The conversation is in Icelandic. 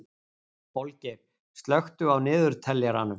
Olgeir, slökktu á niðurteljaranum.